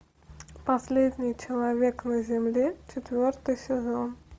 последний человек на земле четвертый сезон